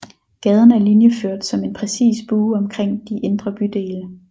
Gaden er linjeført som en præcis bue omkring de indre bydele